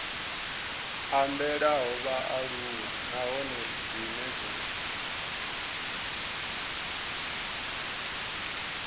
ambelaho vhaaluwa nahone dzine dza